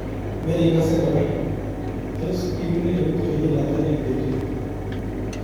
Merikose kora, tos iune eut konyil ata eng betut.